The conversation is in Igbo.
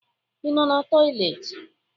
Ị nọ n'toịletị?